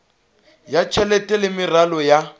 ya tjhelete le meralo ya